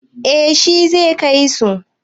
Eh shi zai kai su.